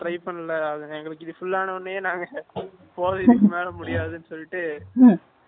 try பண்ணல அது எங்களுக்கு இது full ஆன உடனே நாங்க போதும் இதுக்கு மேல முடியாது சொல்லிட்டு